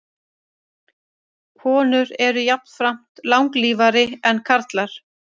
Konur eru jafnframt langlífari en karlar.